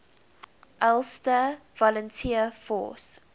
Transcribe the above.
ulster volunteer force